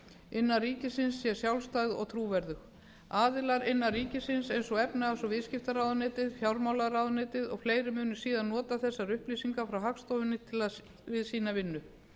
innan ríkisins sé sjálfstæð og trúverðug aðilar innan ríkisins eins og efnahags og viðskiptaráðuneytið fjármálaráðuneytið og fleiri munu síðan nota þessar upplýsingar frá hagstofunni við sína vinnu